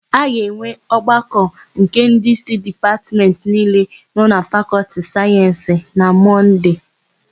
A ga-enwe ọgbakọ nke ndịísí Dipatmentị niile nọ na Fakọltị Sayensị na Mọnde.